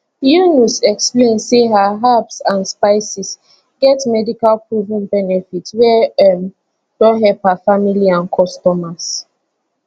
yunus explain say her herbs and spices get medical proven benefits wey um don help her family and customers